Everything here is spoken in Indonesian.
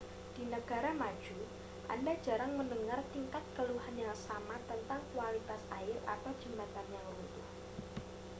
di negara maju anda jarang mendengar tingkat keluhan yang sama tentang kualitas air atau jembatan yang runtuh